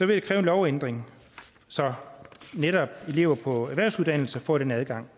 det kræve en lovændring så netop elever på erhvervsuddannelser får den adgang